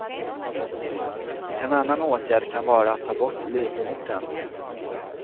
En annan åtgärd kan vara att ta bort livmodern.